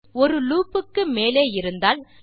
மேலும் ஒரு லூப் க்கு மேலே இருந்தால்